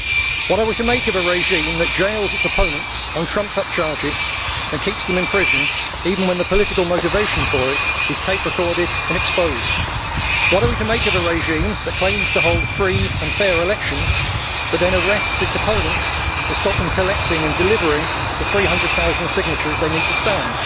What are we to make of a regime that jails its opponents on trumped up charges and keeps them in prison, even when the political motivation for it is tape recorded and exposed? What are we to make of a regime that claims to hold free and fair elections, but then arrests its opponents to stop them collecting and delivering the 300000 signatures they need to stand?